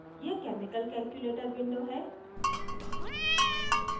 यह chemical calculator window है